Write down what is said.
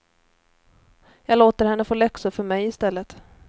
Jag låter henne få läxor för mig i stället.